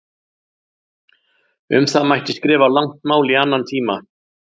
Um það mætti skrifa langt mál í annan tíma.